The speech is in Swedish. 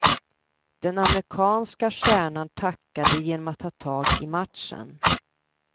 Den amerikanske stjärnan tackade genom att ta tag i matchen.